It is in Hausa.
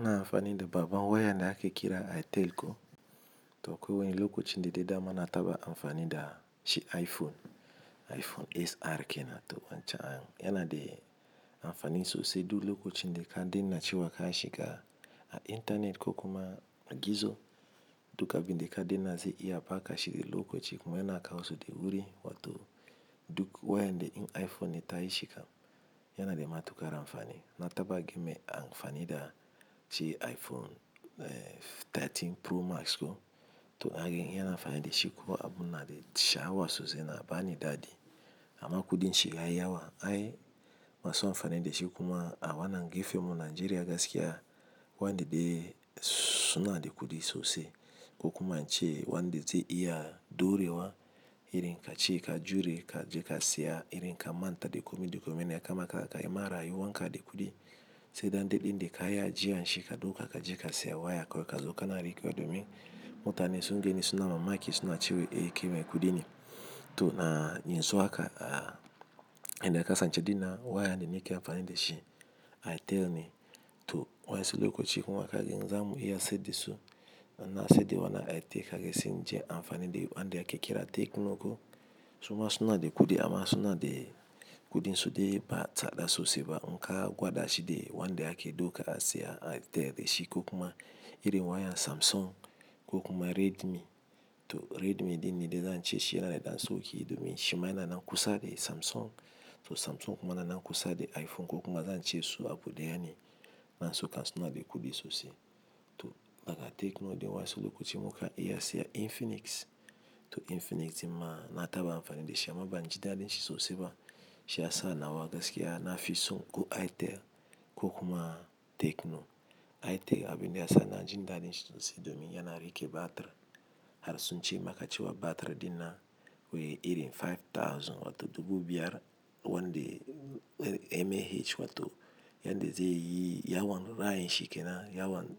Ina amfani da babba wayan da ake kira Airtel ko toh ko wani lokacin da dama na taba amfani da shi iPhone, iPhone XR kenan toh wancan yana da amfani sosai duk lokacin da ka daina cewa ka shiga a intanet ko kuma magizo duk abin da ka daina zai iya baka shi a kan lokaci. Kuma yana kawo su da wuri wato duk waya da in iPhone ya tashi kam yana da matuƙar amfani. Na taba ganin me amfani da shi iPhone 13 Pro Max, hake yaka amfani da shi kuma abun na da sha'awa sosai, yana bani daɗi. Amma kuɗin shi yayi yawa. Ai masu amfani da shi kuma a wannan gefenmu a Najeria gaskiya wanda de suna da kuɗi sosai ko kuma ince wanda zai iya dorewa irin kace ka jure ka je ka saya. Irin ka manta da kuɗi, kuɗin kuma ya kama rayuwan ka da kuɗi. Sai dai daɗin da ka yi a jiya shi, ka doka ka je ka saya waya kawai ka zo ka na rikewa domin mutane sun gani suna mamaki suna cewa eh ke bai kuɗi ne. Toh yanxun haka, na kasance wayan da nake amfani da shi Airtel ne toh wasu lokaci kuma kaga in zamu iya sayad da su, don na sai da wannan Airtel, kake sai in je inyi amfani da wanɗe ake kira Tecno ko suma suna da kuɗi amma suna da kuɗin du dai ba tsada sosai ba. In ka gwada shi de wanda ake daika a saya Airtel da shi ko kuma irin wayan Samsung ko kuma Redmi, toh Redmi din ne dai zan ce shi yana da dan sauki domin shi yana nan kusa da Samsung, toh Samsung kuma yana nan kusa da iPhone ko kuma zan ce su abu ɗaya ne. Wasu kan suna da kuɗi sosai toh daga Tecno din wasu lokaci mukan iya sayan Infinix toh Infinix din ma na taba amfani da shi amma bani jindaɗin shi sosai ba. Shi ya sa na wa gaskiya na fi so ko itel ko kuma Tecno. Itel abin da ya sa ina jin daɗin shi sosai domin yana rike batir. Har suna ce maka cewa batir din nan wai irin 5000 wato dubu biyar wanda mAh wato yan da zai yi yawan rai din shi kenan. Yawan